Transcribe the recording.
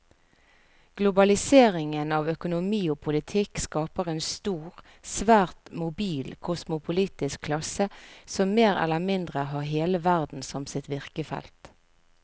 Globaliseringen av økonomi og politikk skaper en stor, svært mobil kosmopolitisk klasse som mer eller mindre har hele verden som sitt virkefelt.